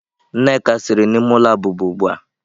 Nneka siri n'ime ulo abuba ugbua.